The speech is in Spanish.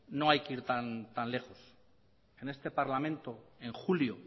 no hay que ir tan lejos en este parlamento en julio